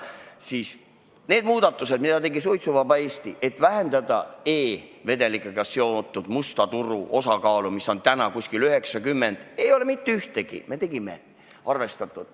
Paraku nendest muudatusettepanekutest, mis tegi Suitsuvaba Eesti – põhiliselt et vähendada e-vedelikega seotud musta turu osakaalu, mis on umbes 90% –, ei ole mitte ühtegi arvestatud.